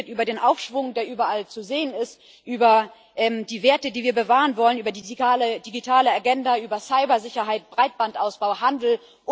Sie haben geredet über den Aufschwung, der überall zu sehen ist, über die Werte, die wir bewahren wollen, über die digitale Agenda, über Cybersicherheit, Breitbandausbau, Handel.